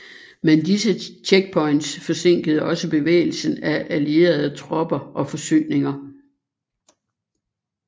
Men disse checkpoints forsinkede også bevægelsen af allierede tropper og forsyninger